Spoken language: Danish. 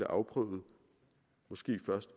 afprøvet måske først